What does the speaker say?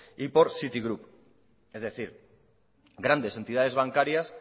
y por city group es decir grandes entidades bancarias